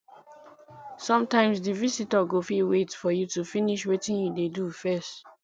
sometimes di visitor go fit wait for you to finish wetin you dey do first